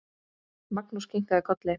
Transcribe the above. Magnús kinkaði kolli.